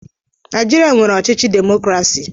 Naịjirịa nwere ọchịchị demokrasi.